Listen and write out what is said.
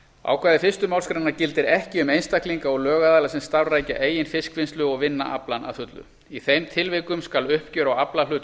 ákvæði fyrstu málsgrein gildir ekki um einstaklinga og lögaðila sem starfrækja eigin fiskvinnslu og vinna aflann að fullu í þeim tilvikum skal uppgjör á aflahlut